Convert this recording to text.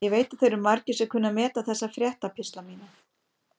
Ég veit að þeir eru margir sem kunna að meta þessa fréttapistla mína.